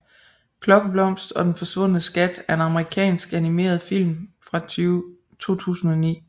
Klokkeblomst og den forsvundne skat er en amerikansk animeretfilm fra 2009